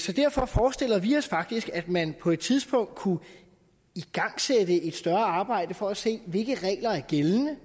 så derfor forestiller vi os faktisk at man på et tidspunkt kunne igangsætte et større arbejde for at se hvilke regler der er gældende